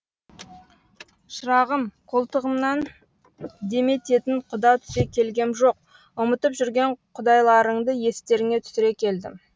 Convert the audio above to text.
шырағым қолтығымнан демететін құда түсе келгем жоқ ұмытып жүрген құдайларыңды естеріңе түсіре келдім